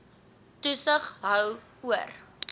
toesig hou oor